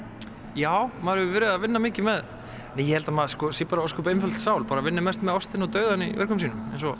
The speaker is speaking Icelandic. já maður hefur verið að vinna mikið með ég held að maður sé bara ósköp einföld sál bara vinni mest með ástina og dauðann í verkum sínum eins og